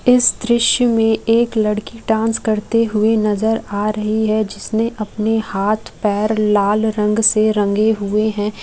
इस दृश्य में एक लड़की डांस करते हुए नजर आ -रही है जिसने अपने हाथ पर लाल रंग से रंगे हुए- हैं